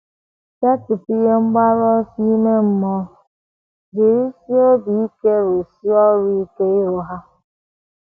Setịpụ ihe mgbaru ọsọ ime mmụọ, jirizie obi ike rụsie ọrụ ike iru ha.